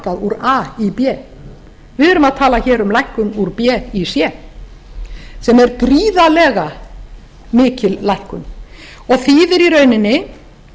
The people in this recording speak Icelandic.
úr a í b við erum að tala hér um lækkun úr b í c sem er gríðarlega mikil lækkun og þýðir í rauninni